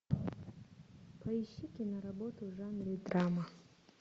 поищи киноработу в жанре драма